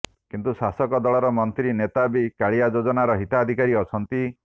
କିନ୍ତୁ ଶାସକ ଦଳର ମନ୍ତ୍ରୀ ନେତା ବି କାଳିଆ ଯୋଜନାର ହିତାଧିକାରୀ ଅଛନ୍ତି